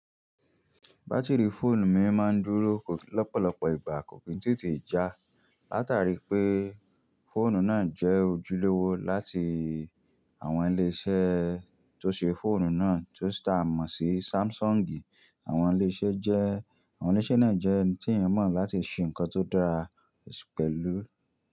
Batiri fóònù mi máa ń dúró lọ́pọ̀lọpọ̀ ìgbà kò kí n tètè já látàrí pé fóònù náà jẹ́ ojúlówó láti àwọn ilé iṣẹ́ tó ṣe fóònù náà tó sì ta mọ̀ sí Samsung. Àwọn ilé iṣẹ́ jẹ́ àwọn ilé iṣẹ́ náà jẹ́ ẹni tí èèyàn mọ̀ láti ṣe nǹkan tó dára pẹ̀lú.